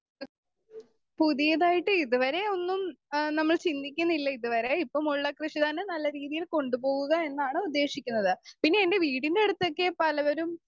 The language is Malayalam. സ്പീക്കർ 2 പുതിയതായിട്ട് ഇതുവരെ ഒന്നും ഏഹ് നമ്മൾ ചിന്തിക്കുന്നില്ല ഇതുവരെ ഇപ്പോമുള്ള കൃഷി തന്നെ നല്ല രീതിയിൽ കൊണ്ടുപോവുക എന്നാണ് ഉദ്ദേശിക്കുന്നത്.പിന്നെ എൻ്റെ വീടിൻ്റെ അടുത്തൊക്കെ പലവരും